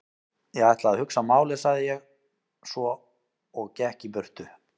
Ég ætla að hugsa málið sagði ég svo og gekk í burtu.